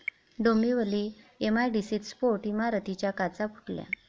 डोंबिवली एमआयडीसीत स्फोट, इमारतीच्या काचा फुटल्या